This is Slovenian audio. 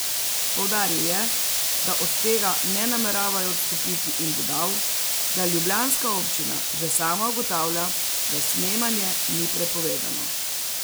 Poudaril je, da od tega ne nameravajo odstopiti, in dodal, da ljubljanska občina že sama ugotavlja, da snemanje ni prepovedano.